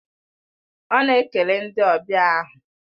Ọ na-ekele ndị ọbịa ahụ